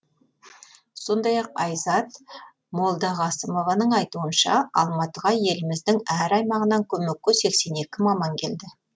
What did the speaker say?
сондай ақ айзат молдағасымованың айтуынша алматыға еліміздің әр аймағынан көмекке сексен екі маман келді